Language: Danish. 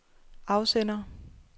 afsender